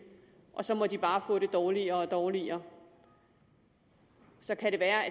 og så må de bare få det dårligere og dårligere så kan det være